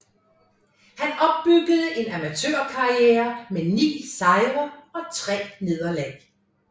Han opbyggede en amatørkarriere med 9 sejre og 3 nederlag